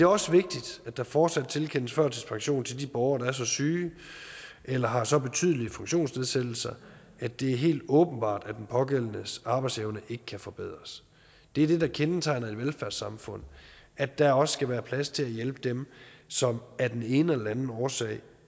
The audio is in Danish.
også vigtigt at der fortsat tilkendes førtidspension til de borgere der er så syge eller har så betydelige funktionsnedsættelser at det er helt åbenbart at den pågældendes arbejdsevne ikke kan forbedres det er det der kendetegner et velfærdssamfund at der også skal være plads til at hjælpe dem som af den ene eller anden årsag